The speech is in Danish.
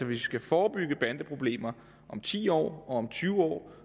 vi skal forebygge bandeproblemer om ti år og tyve år